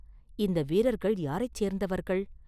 இந்த வீரர்கள் யாரைச் சேர்ந்தவர்கள்?